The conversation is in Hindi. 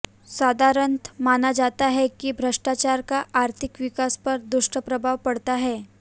साधारणतः माना जाता है कि भ्रष्टाचार का आर्थिक विकास पर दुष्प्रभाव पड़ता है